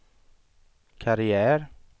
karriär